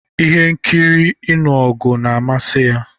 Ihe nkiri ịnụ ọgụ na-amasị ya.